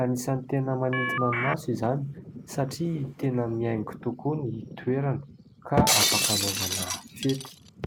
Anisany tena manintona ny maso izany satria tena mihaingo tokoa ny toerana ka afaka hanaovana fety.